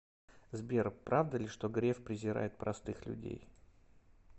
сбер правда ли что греф презирает простых людей